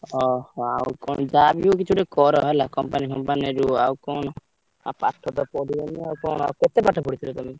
ଅହ! ଆଉ କଣ ଯାହାବି ହଉ କିଛି ଗୋଟେ କର ହେଲା company ଫମ୍ପାନିରେ ରୁହ ଆଉ କଣ ଆଉ ପାଠତ ପଢିବନି ଆଉ କଣ ଆଉ କେତେ ପାଠ ପଢିଥିଲ ତମେ?